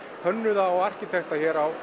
hönnuða og arkitekta hér á